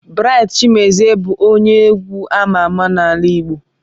Bright Chimezie bụ onye egwu amà amà n'ala Igbo.